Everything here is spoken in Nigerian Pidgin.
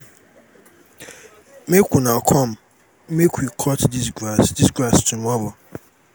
make una come out make we cut dis grass dis grass tomorrow